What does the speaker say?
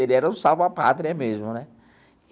Ele era um salva pátria mesmo né.